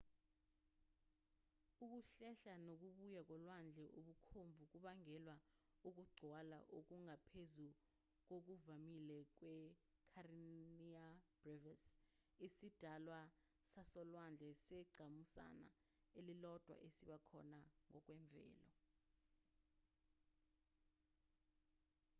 ukuhlehla nokubuya kolwandle okubomvu kubangelwa ukugcwala okungaphezu kokuvamile kwe-kareniya brevis isidalwa sasolwandle sengqamuzana elilodwa esiba khona ngokwemvelo